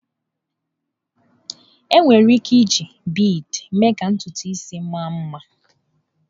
Enwere ike iji bịdị mee ka ntụntụ isi mma nma.